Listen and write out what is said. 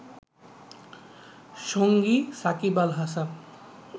সঙ্গী সাকিব আল হাসান